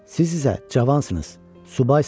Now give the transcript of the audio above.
Siz isə cavansınız, subaysınız.